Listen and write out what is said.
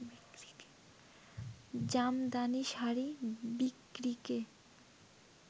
Jamdani sari বিক্রিকে